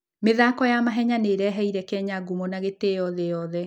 mĩthako ya mahenya nĩ ĩreheire Kenya ngumo na gĩtĩo thĩ yothe.